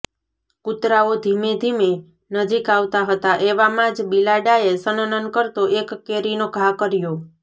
કૂતરાઓ ધીમેધીમે નજીક આવતા હતા એવામાં જ બિલાડાએ સનનન કરતો એક કેરીનો ઘા કર્યો